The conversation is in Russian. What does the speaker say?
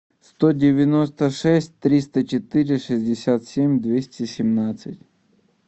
сто девяносто шесть триста четыре шестьдесят семь двести семнадцать